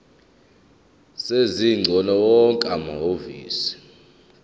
sezingcingo wonke amahhovisi